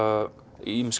ýmiss